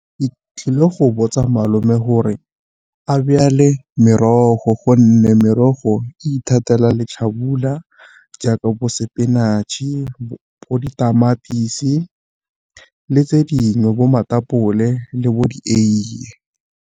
Ke tlile go botsa malome gore a byale merogo gonne merogo e ithatela letlhafula jaaka bo spinach-e, bo ditamatisi, le tse dingwe bo matapole le bo dieiye.